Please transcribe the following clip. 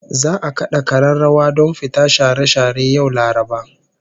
Za'a kada kararrawa don fita share share yau Laraba